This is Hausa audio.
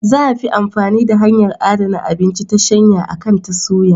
Za a fi amfani da hanyar adana abinci ta shanya akan ta suya.